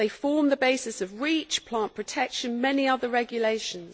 They form the basis of REACH, plant protection and many other regulations.